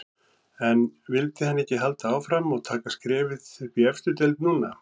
En vildi hann ekki halda áfram og taka skrefið upp í efstu deild núna?